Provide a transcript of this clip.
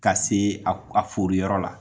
Ka se a forI yɔrɔ la.